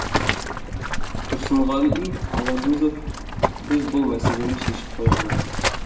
тұрсынғали алагөзов біз бұл мәселені шешіп қойғанбыз